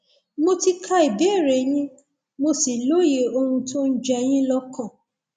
mo ti ka ìbéèrè yín mo sì lóye ohun tó ń jẹ yín lọkàn